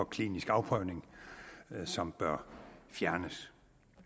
klinisk afprøvning som bør fjernes